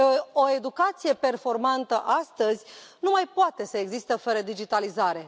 O educație performantă astăzi nu mai poate să existe fără digitalizare.